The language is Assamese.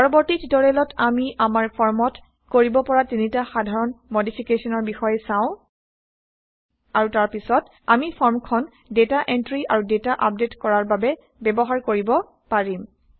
পৰৱৰ্তী টিউটৰিয়েলত আমি আমাৰ ফৰ্মত কৰিব পৰা তিনিটা সাধাৰণ মডিফিকেশ্যনৰ বিষয়ে চাম আৰু তাৰ পাছত আমি ফৰ্মখন ডেটা এন্ট্ৰি আৰু ডেটা আপডেইট কৰাৰ বাবে ব্যৱহাৰ কৰিব পাৰিম